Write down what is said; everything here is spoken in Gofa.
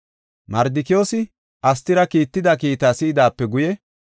Mardikiyoosi Astira kiitida kiitaa si7idaape guye,